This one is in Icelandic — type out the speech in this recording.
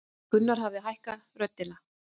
Gunnar hafði lækkað röddina.